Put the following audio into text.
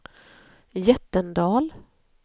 Jättendal